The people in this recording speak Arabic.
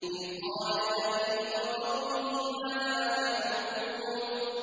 إِذْ قَالَ لِأَبِيهِ وَقَوْمِهِ مَاذَا تَعْبُدُونَ